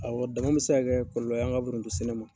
Awɔ dama bɛ se ka kɛ kɔlɔlɔ ye an ka forontosɛnɛ ma.